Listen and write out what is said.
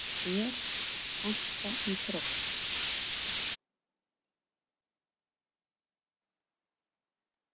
Hvað finnst ÞÉR vanta í Þrótt?